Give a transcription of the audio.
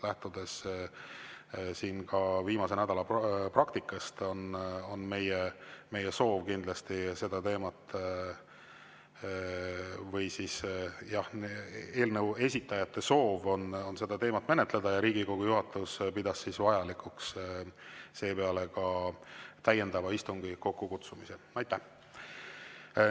Lähtudes viimase nädala praktikast, on meie soov või siis, jah, eelnõu esitajate soov on seda teemat menetleda ja Riigikogu juhatus pidas vajalikuks seepeale täiendav istung kokku kutsuda.